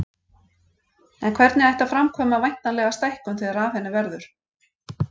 En hvernig ætti að framkvæma væntanlega stækkun þegar af henni verður.